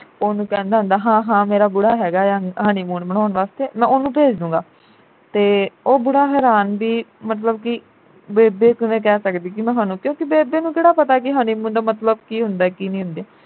ਉਹਨੂੰ ਕਹਿੰਦਾ ਹੁੰਦਾ ਹਾਂ ਹਾਂ ਮੇਰਾ ਬੁੜਾ ਹੈਗਾ ਆ honeymoon ਮਨਾਉਣ ਵਾਸਤੇ ਮੈਂ ਉਹਨੂੰ ਭੇਜ ਦੂੰਗਾ ਤੇ ਉਹ ਬੁੜਾ ਹੈਰਾਨ ਬਈ ਮਤਲਬ ਕਿ ਬੇਬੇ ਕਿਵੇਂ ਕਹਿ ਸਕਦੀ ਕਿ ਕਿਉਕਿ ਬੇਬੇ ਨੂੰ ਕਿਹੜਾ ਪਤਾ ਕਿ honeymoon ਦਾ ਮਤਲਬ ਕੀ ਹੁੰਦਾ ਕਿ ਨਹੀਂ ਹੁੰਦਾ